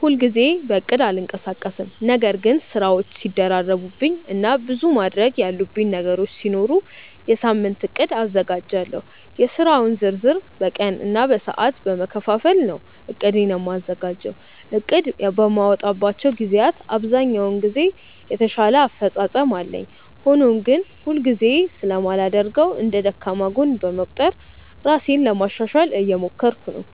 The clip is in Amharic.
ሁል ጊዜ በእቅድ አልንቀሳቀስም ነገር ግን ስራዎች ሲደራረቡብኝ እና ብዙ ማድረግ ያሉብኝ ነገሮች ሲኖሩ የሳምንት እቅድ አዘጋጃለሁ። የስራውን ዝርዝር በቀን እና በሰዓት በመከፋፈል ነው እቅዴን የማዘጋጀው። እቅድ በማወጣባቸው ግዜያት ብዛኛውን ጊዜ የተሻለ አፈፃፀም አለኝ። ሆኖም ግን ሁል ጊዜ ስለማላደርገው እንደ ደካማ ጎን በመቁጠር ራሴን ለማሻሻሻል እየሞከርኩ ነው።